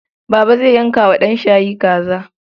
Baba zai yanka wa ɗanshayi kaza.